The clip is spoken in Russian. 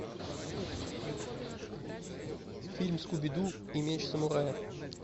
фильм скуби ду и меч самурая